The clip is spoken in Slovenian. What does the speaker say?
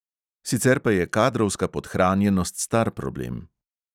Sicer pa je kadrovska podhranjenost star problem.